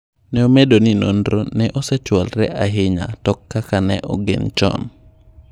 Ne omedo ni nonro ne osechwalre ahinya tokkaka ne ogen chon.